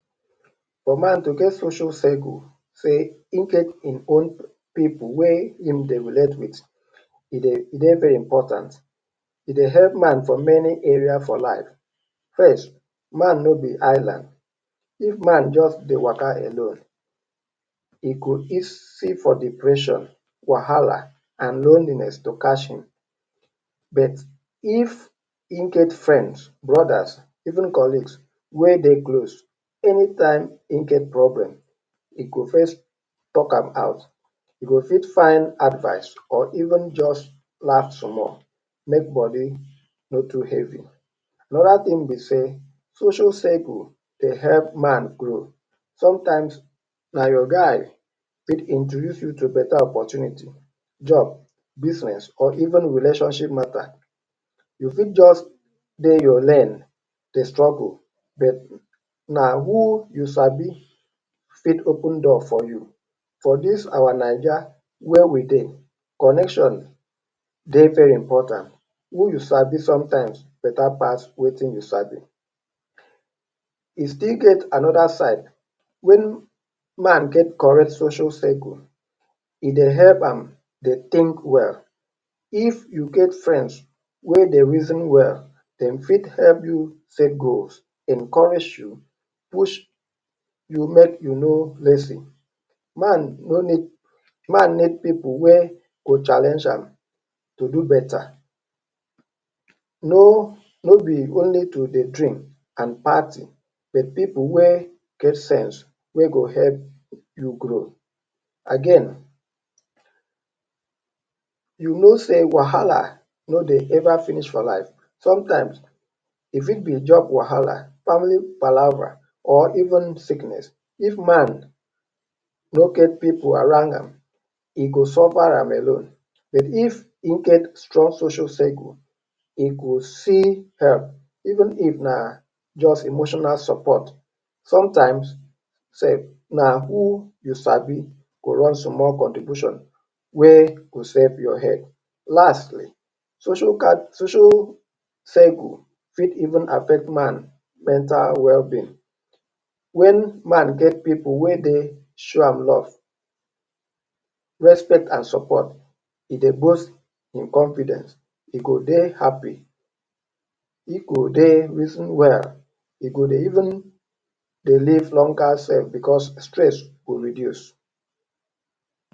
For man to get social circle sey im get im own pipu wey im dey relate with, e dey very important, e dey help man for many area for life. First, man no be island, if man just dey waka alone, e go easy for depression, wahala and lonliness to catch im but if im get friends, brothers and even colleagues, wey dey close, any time im get problem, e go first talk am out. E go fit find advice or even just laugh small make body no too heavy. Another tin be sey, social circle dey help man grow, some times, na your guy fit introduce you to beta opportunity, job, business or even relationship mata. You fit just dey your lane dey struggle but na who you sabi fit open door for you, for dis our Naija wey we dey connection dey very important. Who you sabi sometimes beta pass wetin you sabi. E still get another side when man get correct social circle, e dey help am dey tink well, if you get friends wey dey reason well, dem fit help you set goals, encourage you, push you make you no lazy, man no need man need pipul wey go challenge am to do beta. No be only to dey drink and party, but pipu wey get sense wey go help you grow. Again, you no sey wahala no dey ever finish for life, sometimes, e fit be job wahala, family palava or even sickness, if man no get pipu around am, e go suffer am alone but if im get strong social circle e go see help even if na just emotional support, sometimes self, na who you sabi go run small contribution wey go safe your head. Lastly, social circle event fit affect man well being, wen man get pipu wey dey show am love, respect and support, e dey boast im confident, e go dey happy, e go dey reason well, e go dey even dey live longer self because stress go reduce.